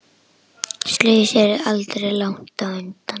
Slysið er aldrei langt undan.